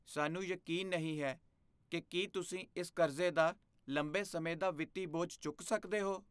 ਸਾਨੂੰ ਯਕੀਨ ਨਹੀਂ ਹੈ ਕਿ ਕੀ ਤੁਸੀਂ ਇਸ ਕਰਜ਼ੇ ਦਾ ਲੰਬੇ ਸਮੇਂ ਦਾ ਵਿੱਤੀ ਬੋਝ ਚੁੱਕ ਸਕਦੇ ਹੋ।